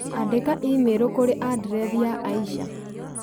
Andĩka i-mīrū kũrĩ andirethi ya Aisha